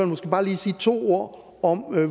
måske bare sige to ord om